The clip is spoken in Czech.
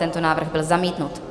Tento návrh byl zamítnut.